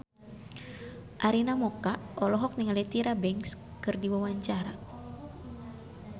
Arina Mocca olohok ningali Tyra Banks keur diwawancara